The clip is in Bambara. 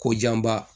Ko janba